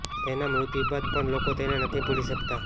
તેના મૃત્યુ બાદ પણ લોકો તેને નથી ભૂલી શકતા